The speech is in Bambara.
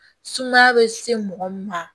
Sumaya bɛ se mɔgɔ min ma